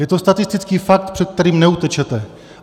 Je to statistický fakt, před kterým neutečete.